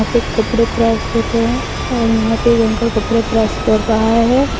कपड़े प्रेस होते हैं और यहां पे एक अंकल कपड़े प्रेस कर रहा है।